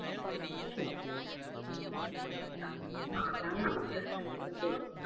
ஆ சேரி. உங்க family members ல எத்தன பேரு?